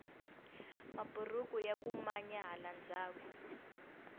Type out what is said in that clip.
maburuku yaku manya hala ndhaku